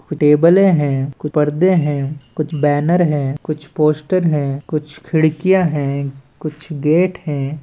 टेबलें हें परदे हें कुछ बैनर हें कुछ पोस्टर हें कुछ खिड़कियां हें कुछ गेट हें।